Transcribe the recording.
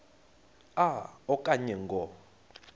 a okanye ngo